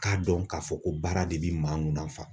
K'a dɔn k'a fɔ ko baara de bi maa nun na